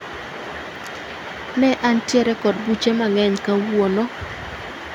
Ne antiere kod buche mang'eny kawuono